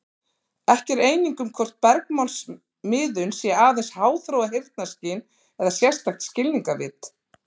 Ekki er eining um hvort bergmálsmiðun sé aðeins háþróað heyrnarskyn eða sérstakt skilningarvit.